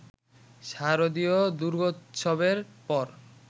শারদীয় দুর্গোৎসবের পর